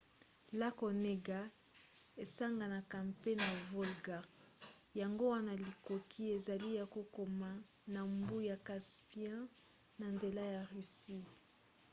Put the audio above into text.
lake onega esanganaka mpe na volga yango wana likoki ezali ya kokoma na mbu ya caspian na nzela ya russie